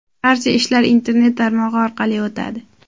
Barcha ishlar internet tarmog‘i orqali o‘tadi.